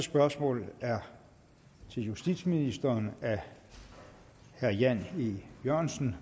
spørgsmål er til justitsministeren af herre jan e jørgensen